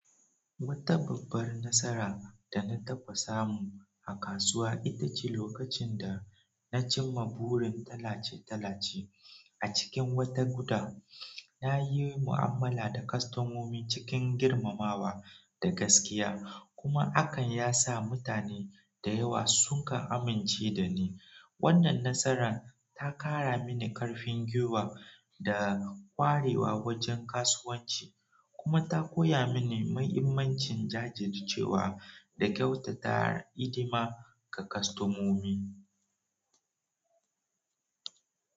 Wata babbar nasara da na tafasa mu a kasuwa ita ce lokacin da na cimma burin tallace-tallace a cikin wata guda. Na yi mu'amala da kwastomomi cikin girmamawa da gaskiya, kuma hakan ya sa mutane da yawa su kan amince da ni. Wannan nasarar ta kara mini karfin gwiwa da kwarewa wajen kasuwanci kuma ta koya mini muhimmancin jajircewa da kyautata ilima ga kwastomomi.